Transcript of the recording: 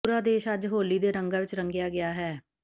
ਪੂਰਾ ਦੇਸ਼ ਅੱਜ ਹੋਲੀ ਦੇ ਰੰਗਾਂ ਵਿੱਚ ਰੰਗਿਆ ਗਿਆ ਹੈ